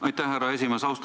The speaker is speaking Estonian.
Aitäh, härra esimees!